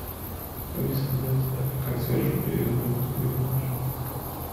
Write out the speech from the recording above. алиса дай задание консьержу перезвонить мне в номер